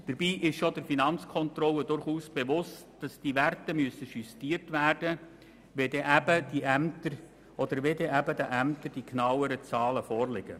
Dabei ist es auch der Finanzkontrolle durchaus bewusst, dass diese Werte justiert werden müssen, wenn den Ämtern die genauen Zahlen vorliegen.